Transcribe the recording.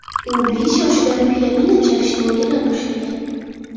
U besh yoshidan pianino chalishni o‘rgana boshlagan.